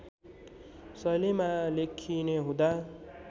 शैलीमा लेखिने हुँदा